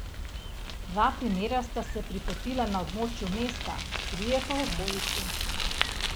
Dva primera sta se pripetila na območju mesta, trije pa v okolici.